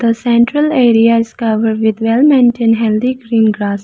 the central area is covered with well maintained healthy green grass.